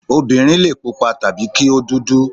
Obìnrin lè pupa tàbí kí ó dúdú.